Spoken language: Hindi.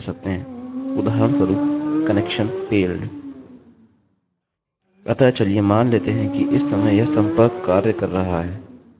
अतः चलिए मान लेते हैं कि इस समय यह सम्पर्क कार्य कर रहा है